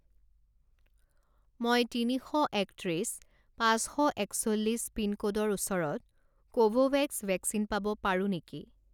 মই তিনি শ একত্ৰিছ পাঁচ শ একচল্লিছ পিনক'ডৰ ওচৰত কোভোভেক্স ভেকচিন পাব পাৰোঁ নেকি?